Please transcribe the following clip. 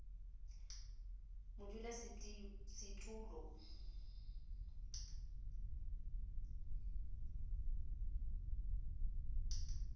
modulasetulo